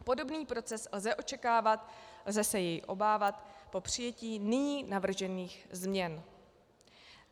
Podobný proces lze očekávat - lze se jej obávat - po přijetí nyní navržených změn.